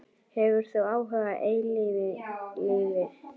Hefur þú áhuga á eilífu lífi?